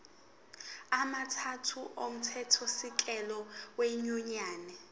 amathathu omthethosisekelo wenyunyane